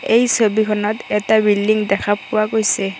এই ছবিখনত এটা বিল্ডিং দেখা পোৱা গৈছে।